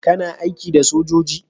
kana aiki da sojoji?